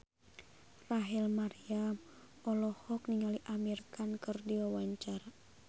Rachel Maryam olohok ningali Amir Khan keur diwawancara